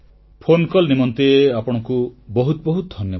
phone call ନିମନ୍ତେ ଆପଣଙ୍କୁ ବହୁତ ବହୁତ ଧନ୍ୟବାଦ